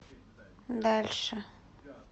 дальше